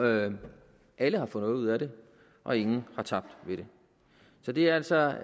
alle har fået noget ud af det og ingen har tabt ved det så det er altså